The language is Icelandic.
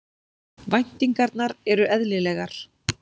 Væntingarnar eru eðlilegar